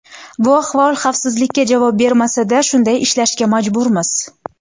Bu ahvol xavfsizlikka javob bermasa-da, shunday ishlashga majburmiz.